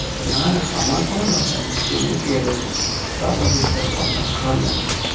না না আমার কোনো দরকার নেই তুমি খেয়ে দেখো তার পর বুজতে পারবে কতটা খারাপ লাগে